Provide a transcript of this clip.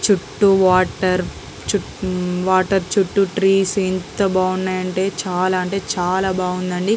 చుట్టూ వాటర్ . చుట్టూ వాటర్ చుట్టూ ట్రీస్ . ఎంత బాగుందంటే చాలా అంటే చాలా బాగుందండి.